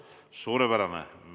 Suurepärane!